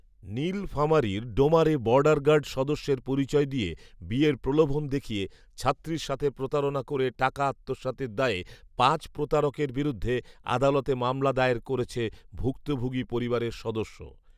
নীলফামারীর ডোমারে বডারগার্ড সদস্যের পরিচয় দিয়ে বিয়ের প্রলোভন দেখিয়ে ছাত্রীর সাথে প্রতারনা করে টাকা আত্মসাতের দায়ে পাঁচ প্রতারকের বিরুদ্ধে আদালতে মামলা দায়ের করেছে ভুক্তভোগী পরিবারের সদস্য